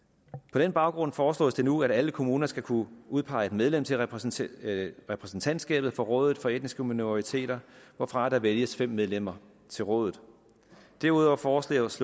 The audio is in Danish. på den baggrund foreslås det nu at alle kommuner skal kunne udpege en medlem til repræsentantskabet repræsentantskabet for rådet for etniske minoriteter hvorfra der vælges fem medlemmer til rådet derudover foreslås